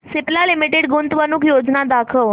Cipla limited गुंतवणूक योजना दाखव